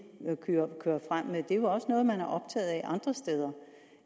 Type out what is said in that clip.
kører frem med det er jo også noget man er optaget af andre steder